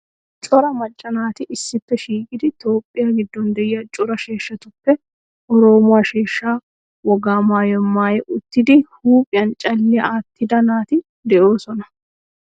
Cora macca naati issippe shiiqidi Toophphiya giddon de'iya cora sheeshshatuppe oroomo sheeshshaa wogaa maayuwa maayi uttidi huuphphiyan calliya aattida naati de'oosona.